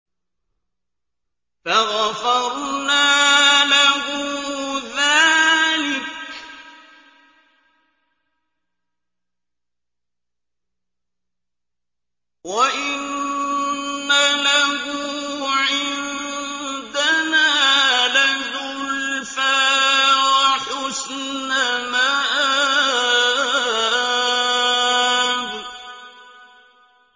فَغَفَرْنَا لَهُ ذَٰلِكَ ۖ وَإِنَّ لَهُ عِندَنَا لَزُلْفَىٰ وَحُسْنَ مَآبٍ